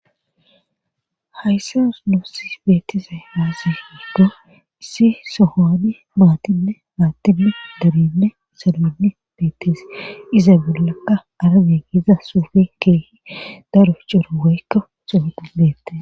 hayssanu nusi beetiza aasi weggo issi sohoani maatinne maattinne dernne isolonne beettes iza bellakka arage giiza suufin keeho daro cora woykka sohot bettes